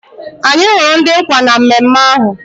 Anyị hụrụ ndị nkwa na mmemme ahụ